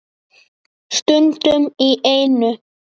Stundum í einu.